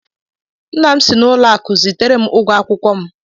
Nna m si n'ụlọakụ zitere m ụgwọ akwụkwọ m